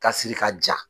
Ka siri ka ja